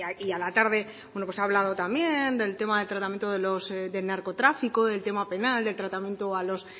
y a la tarde ha hablado también del tema del tratamiento del narcotráfico del tema penal del tratamiento a los